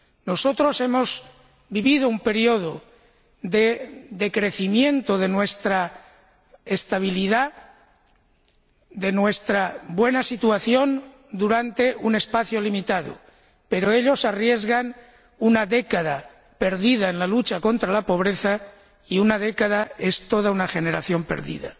Nosotros hemos vivido un período de decrecimiento de nuestra estabilidad, de nuestra buena situación durante un espacio limitado, pero ellos arriesgan una década perdida en la lucha contra la pobreza, y una década es toda una generación perdida.